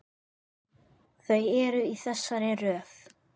Þau eru í þessari röð